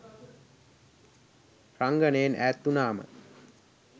රංගනයෙන් ඈත් වුණාම